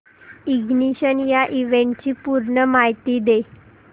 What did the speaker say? ignition या इव्हेंटची पूर्ण माहिती दे